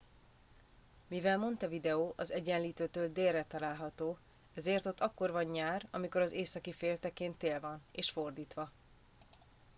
mivel montevideo az egyenlítőtől délre található ezért ott akkor van nyár amikor az északi féltekén tél van és fordítva